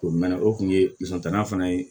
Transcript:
O mɛnɛ o kun ye musoninta fana ye